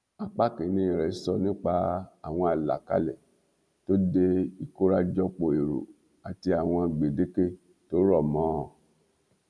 apá kìínní sọrọ nípa àwọn alákálẹ tó dé ìkórajòpó èrò àti àwọn gbèdéke tó rọ mọ ọn